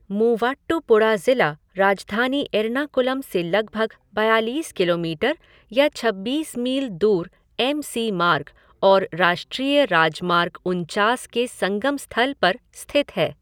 मूवाट्टुपुड़ा ज़िला राजधानी एर्नाकुलम से लगभग बयालीस किलोमीटर या छब्बीस मील दूर एम सी मार्ग और राष्ट्रीय राजमार्ग उनचास के संगम स्थल पर स्थित है।